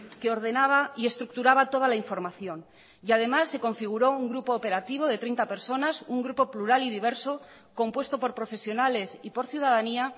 que ordenaba y estructuraba toda la información y además se configuró un grupo operativo de treinta personas un grupo plural y diverso compuesto por profesionales y por ciudadanía